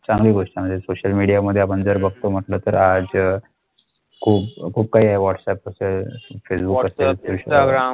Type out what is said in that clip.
सांगली गोष्‍टी म्‍हणजे सोशल मीडियामध्ये आपण जर बघितलं तर आज खूप काही वॉट्सॲप, फेसबुक